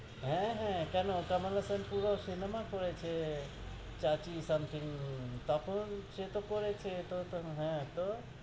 হ্য়াঁ, হ্য়াঁ, কেন? কমল হাসান পুরো cinema করেছে something, তখন? সে তহ করেছে? তো তখন, হ্য়াঁ, তো,